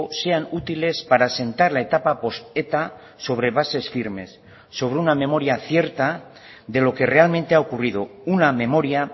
sean útiles para asentar la etapa post eta sobre bases firmes sobre una memoria cierta de lo que realmente ha ocurrido una memoria